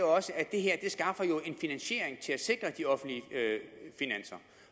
også at det her skaffer en finansiering til at sikre de offentlige finanser